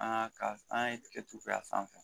An ka ka an ye tigɛtu a sanfɛ